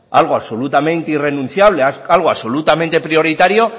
algo absolutamente irrenunciable algo absolutamente prioritario